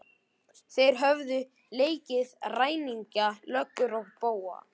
Þeir höfðu leikið ræningja, löggur og bófa.